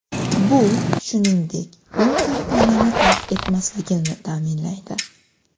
Bu, shuningdek, u kompaniyani tark etmasligini ta’minlaydi.